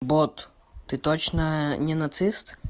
бот ты точно не нацист